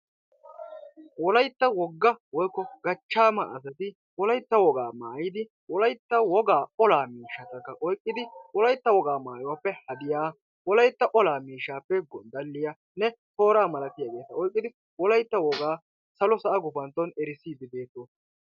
Wolaytta wogga woykko gachchaama asati wolaytta wogaa maayidi wolaytta wogaa olaa miishshatakka oyqqidi wolaytta wogaa maayuwappe hadiya wolaytta olaa miishshaappe gonddalliyanne tooraa malatiyageeta oyqqidi wolaytta wogaa salo sa"a gufantton erisdiiddi beettoosona.